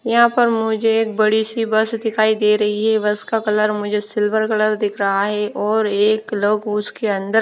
यहां पर मुझे एक बड़ी सी बस दिखाई दे रही है बस का कलर मुझे सिल्वर कलर दिख रहा है और एक लोग उसके अंदर--